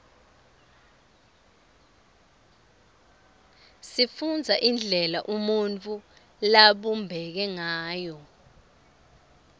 sifundza indlela umuntfu labumbeke ngayo